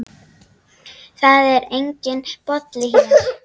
Það er enginn Bolli hér.